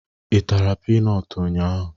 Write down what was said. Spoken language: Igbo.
I tara pinọt ụnyaahụ?